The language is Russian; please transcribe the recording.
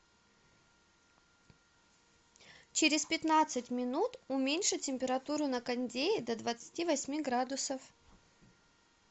через пятнадцать минут уменьши температуру на кондее до двадцати восьми градусов